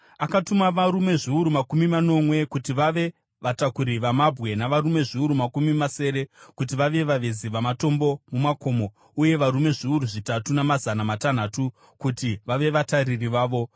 Akatuma varume zviuru makumi manomwe kuti vave vatakuri vamabwe, navarume zviuru makumi masere kuti vave vavezi vamatombo mumakomo uye varume zviuru zvitatu namazana matanhatu kuti vave vatariri vavo.